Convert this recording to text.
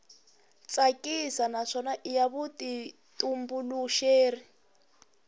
tsakisa naswona i ya vutitumbuluxeri